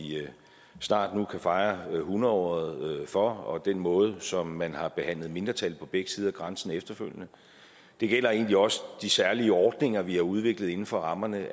snart kan fejre hundredåret for og den måde som man har behandlet mindretal på begge sider af grænsen på efterfølgende det gælder egentlig også de særlige ordninger vi har udviklet inden for rammerne